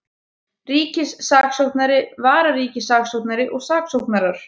Ríkissaksóknari, vararíkissaksóknari og saksóknarar.